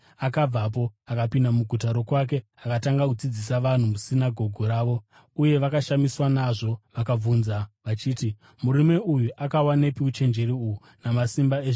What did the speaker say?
Akapinda muguta rokwake akatanga kudzidzisa vanhu musinagoge ravo, uye vakashamiswa nazvo. Vakabvunza vachiti, “Murume uyu akawanepi uchenjeri uhu namasimba ezvishamiso aya?